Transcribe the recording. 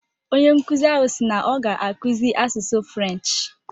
Onye nkuzi ahụ si na ọ ga-akụzi asụsụ French